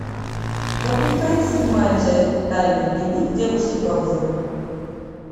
запускай седьмая часть тайный дневник девушки по вызову